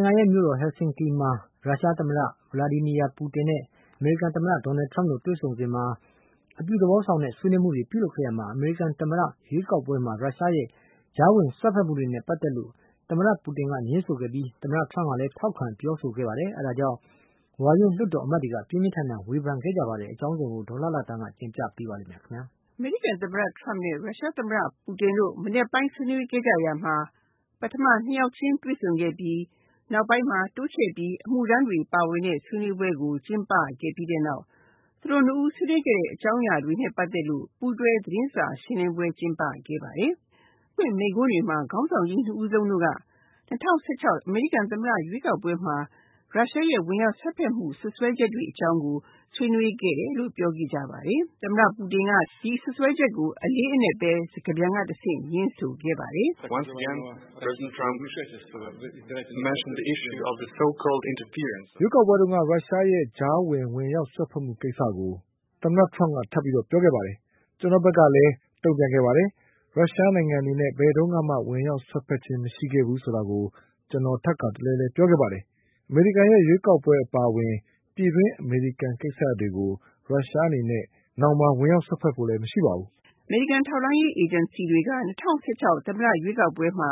နိုင်ငံရဲ့မြို့တော် Helsinki မှာ ရုရှားသမ္မတ Vladimir Putin နဲ့ အမေရိကန်သမ္မတ Trump တို့တွေ့ဆုံတဲ့အချိန်မှာ အပြုသဘောဆောင်တဲ့ တွေ့ဆုံမှုတွေ ပြုလုပ်ခဲ့ရမှာ အမေရိကန်သမ္မတရွေးကောက်ပွဲမှာ ရုရှားရဲ့ ကြားဝင်တွေ့ဆုံမှုတွေနဲ့ ပတ်သက်လို့ သမ္မတ Putin ကငြင်းဆိုခဲ့ပြီး သမ္မတTrump ကလည်းပြောဆို ထောက်ခံခဲ့ပါတယ်။ အဲဒါကြောင့် ဝါရင့်လွတ်တော်အမတ်တွေက ပြင်းပြင်းထန်ထန်ဝန်ခံခဲ့ကြပါတယ်။ အကြောင်းစုံကို ဒေါ်လှလှသန်းက တင်ပြပေးပါမယ်။ အမေရိကန်သမ္မတ Trumpနဲ့ ရုရှားသမ္မတ Vladimir Putin က မနက်ပိုင်းဆွေးနွေးခဲ့ကြရမှာ ပထမ ၂ ယောက်ခြင်းတွေ့ဆုံခဲ့ပြီး နောက်ပိုင်းမှာ တိုးချဲ့ပြီး အမှုထမ်းတွေပါဝင်တဲ့ ဆွေးနွေးပွဲကို ကျင်းပပြီးတဲ့နောက် သူတို့ ၂ ဦးရဲ့ ဆွေးနွေးမှုအကြောင်းအရာနဲ့ ပတ်သက်လို့ ပူးတွဲသတင်းစာရှင်းလင်းပွဲ ကျင်းပခဲ့ပါတယ်။ သူတို့မိန့်ခွန်းတွေမှာ ခေါင်းဆောင် ၂ ယောက်တို့က ၂၀၁၆ အမေရိကန်သမ္မတရွေးကောက်ပွဲမှာ ရုရှားရဲ့ ဝင်ရောက်စွက်ဖက်မှုတွေကို စွပ်စွဲမှုတွေကို ဆွေးနွေးခဲ့တယ်လို့ ပြောခဲ့ကြပါတယ်။ ရုရှားသမ္မတ Vladimir Putinက ဒီစွပ်စွဲချက်ကို စကားပြန်ကတဆင့် ငြင်းဆိုခဲ့ပါတယ်။ “ရွေးကောက်ပွဲတုန်းက ရုရှားရဲ့ ကြားဝင် ဝင်ရောက်စွက်ဖက်မှုတွေကို သမ္မတTrump ကပြောခဲ့ပါတယ်။ ကျနော့် ဘက်ကလည်း တုံ့ပြန်ခဲ့ပါတယ်။ ရုရှားအနေနဲ့ ဘယ်တုန်းကမှ ဝင်ရောက်စွက်ဖက်ခြင်းမရှိခဲ့ဘူးဆိုတာကိုကျနော်ထပ်ခါတလဲလဲပြောခဲ့ပါတယ်။ အမေရိကန်ရွေးကောက်ပွဲအပါအဝင် ပြည်တွင်းအမေရိကန်ကိစ္စတွေမှာ နောင်မှာ ရုရှားအနေနဲ့ ဝင်ရောက်စွက်ဖက်ဖို့လည်းမရှိပါဘူး။” အမေရိကန်ထောက်လှမ်းရေးအေဂျင်စီတွေက ၂၀၁၆ သမ္မတရွေးကောက်ပွဲမှာ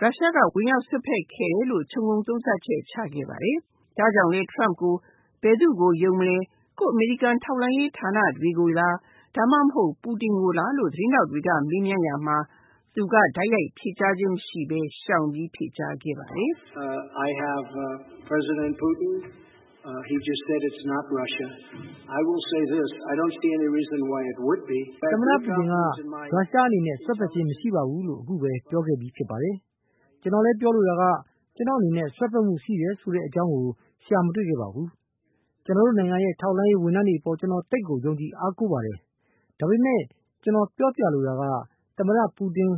ရုရှားဝင်ရောက်စွက်ဖက်ခဲ့တယ်လို့ ခြုံငုံသုံးသပ်ချက် ချခဲ့ပါတယ်။ ဒါကြောင့်လည်း Trump ကို ဘယ်သူ့ကို ယုံမယ်၊ ကိုယ့် အမေရိကန်ထောက်လှမ်းရေးဌာနတွေကိုလည်း ဒါမှမဟုတ် Putinကိုလားလို့မေးရာမှာ သူက တိုက်ရိုက် ဖြေကြားခြင်းမရှိပဲ ရှောင်ပြီး ဖြေကြားခဲ့ပါတယ်။ “သမ္မတPutin က ရုရှားအနေနဲ့ ဝင်ရောက်စွက်ဖက်ခြင်းမရှိပါဘူးလို့ အခုပဲ ပြောခဲ့ပြီးဖြစ်ပါတယ်။ ကျနော်လည်းပြောလိုတာက ကျနော့်အနေနဲ့ စွက်ဖက်ခြင်းရှိခဲ့တဲ့အကြောင်းကို ရှာမတွေ့ခဲ့ပါဘူး။ ကျနော်တို့နိုင်ငံရဲ့ ထောက်လှမ်းရေးဝန်ထမ်းတွေအပေါ် ကျနော်သိပ်ကိုယုံကြည်အားကိုးပါတယ်။ ဒါပေမယ့် ကျနော်ပြောလိုတာက သမ္မတပူတင်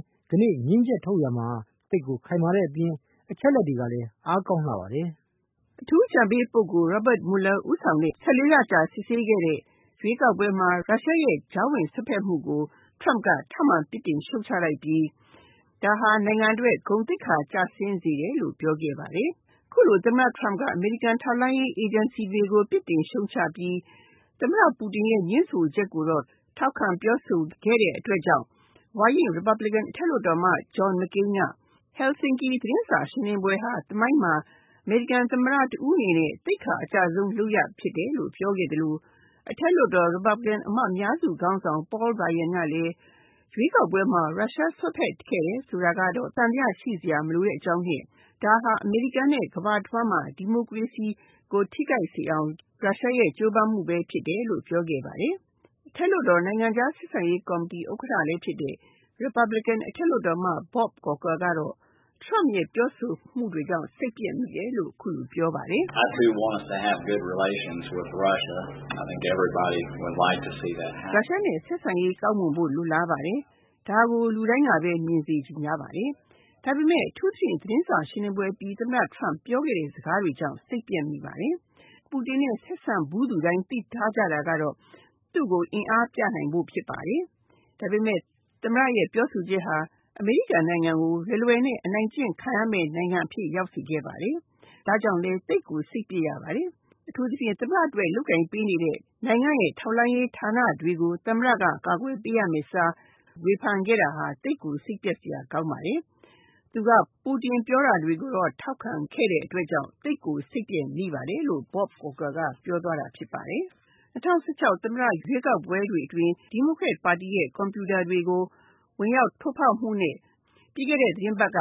ငြင်းချက်ထုတ်ရာမှာ သိပ်ကိုခိုင်မာတဲ့အပြင် အချက်အလက်တွေကလည်း အားကောင်းလှပါတယ်။” အထူးအကြံပေး ပုဂ္ဂိုလ်Robert Mueller ဦးဆောင်တဲ့ ၁၄ လကြာ စစ်ဆေးခဲ့တဲ့ ရွေးကောက်ပွဲမှာ ရုရှားကြားဝင် စွက်ဖက်မှုကို Trump က ထပ်မှန် ရှုံ့ချလိုက်ပြီး ဒါဟာ နိုင်ငံအတွက် ဂုဏ်သိက္ခာကျဆင်းစေတယ်လို့ ပြောခဲ့ပါတယ် အခုလို သမ္မတ Trump က အမေရိကန်ထောက်လှမ်းရေးအေဂျင်စီတွေကို ပြစ်တင်ရှုံ့ချပြီး သမ္မတ ပူတင် ငြင်းဆိုချက်ကိုတော့ ထောက်ခံပြောဆိုခဲ့တဲ့အတွက်ကြောင့် ဝါရင့် Republican အထက်လွှတ်တော်အမတ် John MCcain က Helsinki သတင်းစာရှင်းလင်းပွဲမှာ အမေရိကန်သမ္မတ တဦးအနေနဲ့ သိက္ခာအကျဆုံးလုပ်ရက်ဖြစ်တယ်လို့ ပြောခဲ့သလို အထက်လွှတ်တော် Republican လွှတ်တော်အမတ် အများစုခေါင်းဆောင် Paul Ryan ကလည်း ရွေးကောက်ပွဲမှာ ရုရှားအနေနဲ့ ဝင်ရောက်စွက်ဖက်ခဲ့တယ်ဆိုတာကို သံဿယရှိစရာမလိုတဲ့အကြောင်းနဲ့ ဒါက အမေရိကန်နဲ့ ကမ္ဘာတဝှမ်းမှာ ဒီမိုကရေစီကို ထိခိုက်စေအောင် ရုရှားကြိုးပမ်းမှုဖြစ်တယ်လို့ ပြောခဲ့ပါတယ် ။ အထက်လွှတ်တော် နိုင်ငံခြားဆက်ဆံရေးကော်မတီဥက္ကဋ္ဌလည်းဖြစ်တဲ့ Republican အထက်လွှတ်တော်အမတ် Bob corker ကတော့ Trump ရဲ့ ပြောဆိုမှုတွေကြောင့် စိတ်ပျက်မိတယ်လို့ အခုလိုပြောပါတယ်။ “ရုရှားနဲ့ ဆက်ဆံရေးကောင်းမွန်ဖို့ လိုလားပါတယ်။ ဒါကို လူတိုင်းကပဲ မြင်စေချင်ကြပါတယ်။ ဒါပေမယ့် အထူးသဖြင့် သတင်းစာရှင်းလင်းပွဲအပြီး သမ္မတ Trump ရဲ့ ပြောခဲ့တဲ့စကားတွေကြောင့် စိတ်ပျက်မိပါတယ်။ ပူတင်နဲ့ ဆက်ဆံဖူးသူတိုင်း သိထားကြတာကတော့ သူ့ကို အင်အားပြနိုင်ဖို့ ဖြစ်ပါတယ်။ ဒါပေမယ့် သမ္မတပြောဆိုချက်ဟာ အမေရိကန်နိုင်ငံကို လွယ်လွယ်နဲ့ အနိုင်ကျင့်ခံရမယ့်နိုင်ငံအဖြစ်ရောက်စေခဲ့ပါတယ်။ ဒါကြောင့်လည်း သိပ်ကိုစိတ်ပျက်ရပါတယ်။ အထူးသဖြင့် သမ္မတအတွက် လုပ်ကိုင်ပေးနေတဲ့ နိုင်ငံ့ရဲ့ ထောက်လှမ်းရေးဌာနတွေကို သမ္မတက ကာကွယ်ပေးရမယ့်အစား ဝေဖန်ခဲ့တာဟာ သိပ်ကို စိတ်ပျက်စရာကောင်းပါတယ်။ သူက ပူတင်ပြောတာတွေကို ထောက်ခံခဲ့တဲ့အတွက်ကြောင့် သိပ်ကိုစိတ်ပျက်ရပါတယ်။” ၂၀၁၆ အမေရိကန်သမ္မတရွေးကောက်ပွဲမှာ ဒီမိုကရက်ပါတီရဲ့ ကွန်ပြူတာတွေကို ဝင်ရောက်ထိုးဖောက်မှုနဲ့ ပြီးခဲ့တဲ့ သီတင်းပတ်က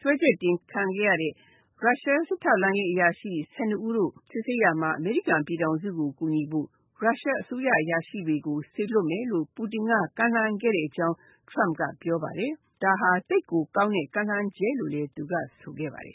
စွဲချက်တင်ခံခဲ့ရတဲ့ ရုရှား စစ်ထောက်လှမ်းရေးအရာရှိ ၁၂ ဦးတို့ စစ်ဆေးရာမှာ အမေရိကန်ပြည်ထောင်စုကို ကူညီဖို့ ရုရှားအစိုးရအရာရှိတွေကို စေလွှတ်မယ်လို့ ပူတင်က ကမ်းလှမ်းခဲ့တဲ့အကြောင်း Trump ကပြောပါတယ်။ ဒါဟာ သိပ်ကောင်းတဲ့ ကမ်းလှမ်းချက်လို့ သူက ဆိုခဲ့ပါတယ်